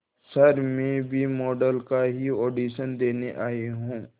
sir मैं भी model का ही ऑडिशन देने आई हूं